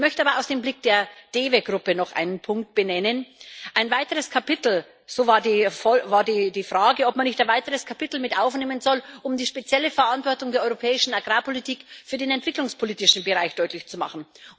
Ich möchte aber aus dem Blick der DEVE Gruppe noch einen Punkt benennen Es war die Frage, ob man nicht ein weiteres Kapitel mit aufnehmen soll, um die spezielle Verantwortung der europäischen Agrarpolitik für den entwicklungspolitischen Bereich deutlich zu machen.